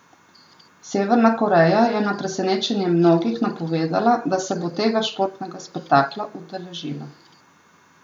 Severna Koreja je na presenečenje mnogih napovedala, da se bo tega športnega spektakla udeležila.